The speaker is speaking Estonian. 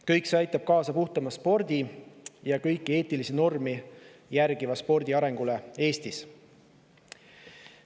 Kõik see aitab kaasa puhtamale spordile, kõiki eetilisi norme järgiva spordi arengule Eestis.